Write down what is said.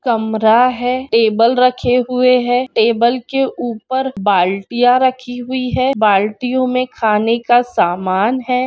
कमरा है टेबल रखे हुए है टेबल के ऊपर बाल्टीय राखी हुई है बलटीऑन मे खाने का समान है।